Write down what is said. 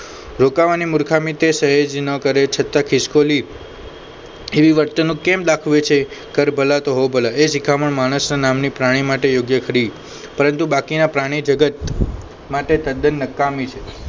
રોકાવાની મુર્ખામની તે સહેજ ના કરે કરે છતાં ખિસકોલી એવી વર્ત્રુંક કેમ દાખવે છે કલ ભલા તો હો ભલા એ શિખામણ માણસના નામની પ્રાણી માટે યોગ્ય ખરી પરંતુ બાકીના પ્રાણી જગત માટે તદ્દન નકામી છે